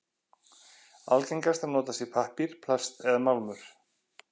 Algengast er að notað sé pappír, plast eða málmur.